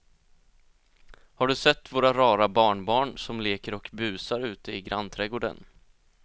Har du sett våra rara barnbarn som leker och busar ute i grannträdgården!